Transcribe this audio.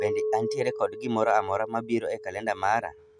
Bende antiere kod gimoro amora mabiro e kalenda mara.